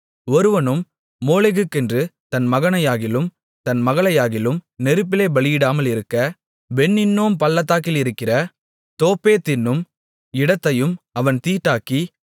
ஒருவனும் மோளேகுக்கென்று தன் மகனையாகிலும் தன் மகளையாகிலும் நெருப்பிலே பலியிடாமலிருக்க பென் இன்னோம் பள்ளத்தாக்கிலிருக்கிற தோப்பேத் என்னும் இடத்தையும் அவன் தீட்டாக்கி